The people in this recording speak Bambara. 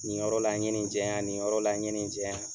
Nin yɔrɔ la n ye nin jɛn yan nin yɔrɔ la n ye nin jɛn yan.